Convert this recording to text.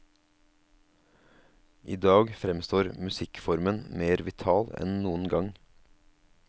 I dag fremstår musikkformen mer vital enn noen gang.